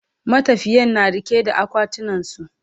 matafiyan na riƙe da akwatunan su